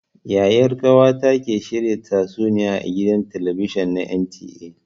Yayar ƙawata ke shirin tatsuniya a gidan talabijin na NTA.